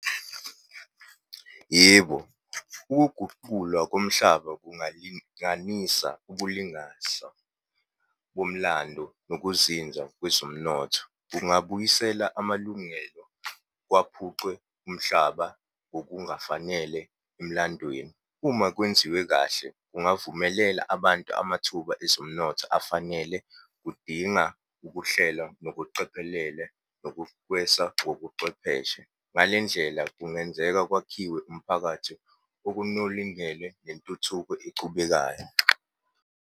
Yebo, ukuguqulwa komhlaba kungalinganisa ukulingasa komlando nokuzinza kwezomnotho. Kungabuyisela amalungelo kwaphucwe umhlaba ngokungafanele emlandweni. Uma kwenziwe kahle, kungavumelela abantu amathuba ezomnotho afanele, kudinga ukuhlela, nokucophelela, kobucwepheshe. Ngale ndlela kungenzeka kwakhiwe umphakathi, okunolingele nentuthuko echubekayo.